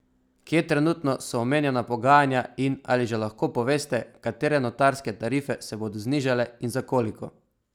Kje trenutno so omenjena pogajanja in ali že lahko poveste, katere notarske tarife se bodo znižale in za koliko?